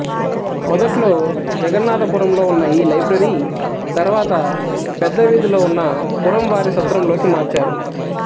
మొదట్లో జగన్నాధపురం లో ఉన్న ఈ లైబ్రరీ తర్వాత పెద్ద వీధిలో ఉన్న పురం వారి సత్రం లోకి మార్చారు